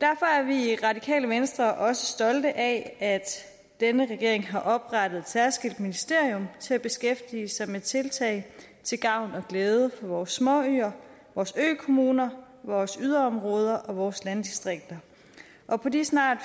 derfor er vi i radikale venstre også stolte af at denne regering har oprettet et særskilt ministerium til at beskæftige sig med tiltag til gavn og glæde for vores småøer vores økommuner vores yderområder og vores landdistrikter på de snart